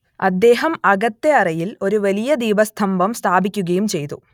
അദ്ദേഹം അകത്തെ അറയിൽ ഒരു വലിയ ദീപസ്തംഭം സ്ഥാപിക്കുകയും ചെയ്തു